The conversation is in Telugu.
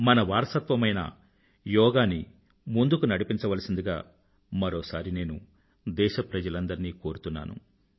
మన వారసత్వమైన యోగాని ముందుకు నడిపించవలసిందిగా మరోసారి నేను దేశప్రజలందరినీ కోరుతున్నాను